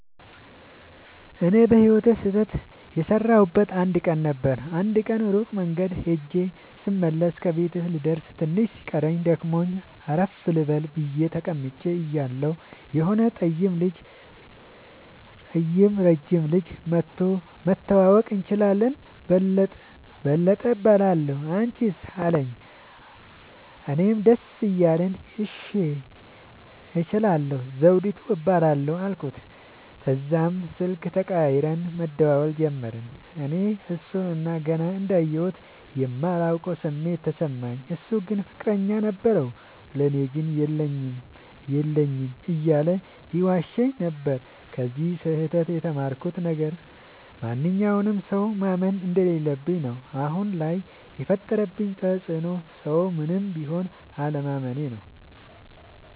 እኔ በህይወቴ ስህተት የሠረውበት አንድ ቀን ነበር። አንድ ቀን ሩቅ መንገድ ኸጀ ስመለስ ከቤቴ ልደርስ ትንሽ ሲቀረኝ ደክሞኝ አረፍ ልበል ብየ ተቀምጨ እያለሁ የሆነ ጠይም ረጅም ልጅ መኧቶ<< መተዋወቅ እንችላለን በለጠ እባላለሁ አንችስ አለኝ>> አለኝ። እኔም ደስ እያለኝ እሺ እንችላለን ዘዉዲቱ እባላለሁ አልኩት። ተዛም ስልክ ተቀያይረን መደዋወል ጀመርን። እኔ እሡን ገና እንዳየሁት የማላቀዉ ስሜት ተሰማኝ። እሡ ግን ፍቅረኛ ነበረዉ። ለኔ ግን የለኝም የለኝም እያለ ይዋሸኝ ነበር። ከዚ ስህተ ት የተማርኩት ነገር ማንኛዉንም ሠዉ ማመን እንደለለብኝ ነዉ። አሁን ላይ የፈጠረብኝ ተፅዕኖ ሠዉን ምንም ቢል አለማመኔ ነዉ።